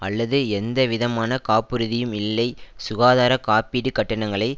அல்லது எந்த விதமான காப்புறுதியும் இல்லை சுகாதார காப்பீடு கட்டணங்களை